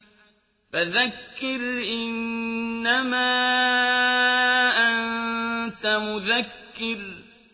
فَذَكِّرْ إِنَّمَا أَنتَ مُذَكِّرٌ